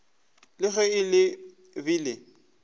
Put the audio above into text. le ge le be le